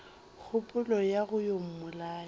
kgopolo ya go yo mmolaya